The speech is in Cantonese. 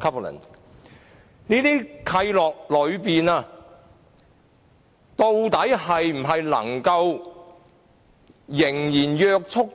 究竟這些契諾是否仍然能約束